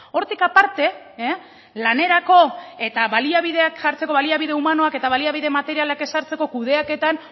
hortik aparte lanerako eta baliabideak jartzeko baliabide humanoak eta baliabide materialak ezartzeko kudeaketan